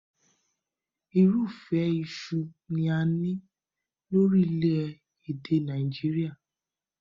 Irúfẹ́ iṣu ni a ní ní orílẹ̀-èdè Nàíjíríà